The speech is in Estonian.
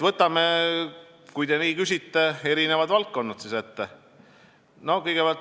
Kui te nii küsite, siis võtame ette eri valdkonnad.